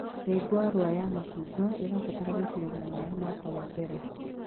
Mĩũngũrwa ya macungwa ĩbataraga gũitĩrĩrio maĩ mũaka wa mbere